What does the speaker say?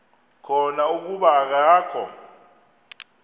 khona kuba akakho